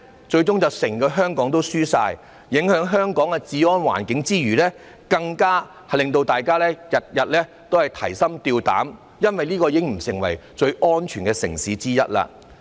最終整個香港也會輸，在影響香港的治安環境之餘，更會令大家每天提心吊膽，因為這已經不是最安全的城市之一。